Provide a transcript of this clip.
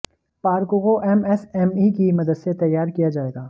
park को MSME की मदद से तैयार किया जाएगा